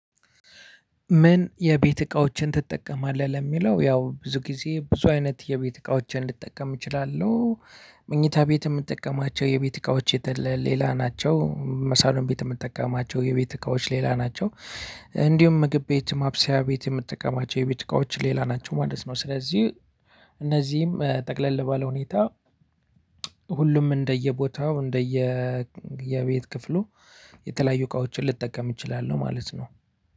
ምን የቤት እቃዎችን ትጠቀማለህ ለሚለው ያው ብዙ ጊዜ ብዙ አይነት የቤት እቃዎችን ልጠቀም እችላለሁ። ምኝታ ቤት ምጠቀማቸው የቤት እቃዎች ሌላ ናቸው። ሳሎን ቤት ምጠቀማቸው የቤት እቃዎች ሌላ ናቸው። እንዲሁም ምግብ ቤት ማብሰያ ቤት የምጠቀማቸው የቤት እቃዎች ሌላ ናቸው ማለት ነው። ስለዚህ እነዚህም ጠቅለል ባለ ሁኔታ ሁሉም እንደየቦታው እንደየ የቤት ክፍሉ የተለያዩ እቃዎችን ልጠቀም እችላለሁ። ማለት ነው።